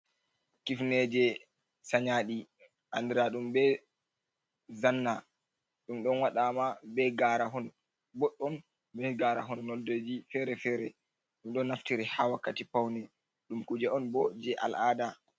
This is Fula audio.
Kifineeje sanyaaɗi anndiraa ɗum be janna, ɗum ɗon waɗaama be garaahon boɗɗum be garaahon nondeeji fere-fere ɗum ɗon naftire haa wakkati pawne, ɗum kuje on bo, jey al'aada.